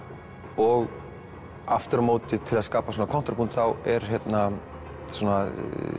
og aftur á móti til að skapa svona þá er hérna svona